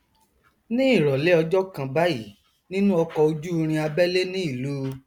ní ìrọlẹ ọjọ kan báyìí nínú ọkọojúurin abẹlẹ ní ìlú